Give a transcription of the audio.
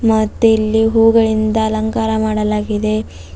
ಮತ್ತೆ ಇಲ್ಲಿ ಹೂಗಳಿಂದ ಅಲಂಕಾರ ಮಾಡಲಾಗಿದೆ.